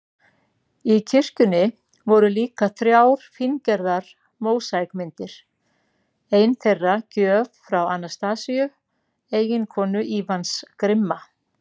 Í kirkjunni voru líka þrjár fíngerðar mósaíkmyndir, ein þeirra gjöf frá Anastasíu, eiginkonu Ívans grimma